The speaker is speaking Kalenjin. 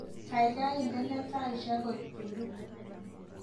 Gaigai indene taishek koek puluu